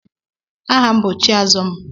Aha m bu Chiazọm.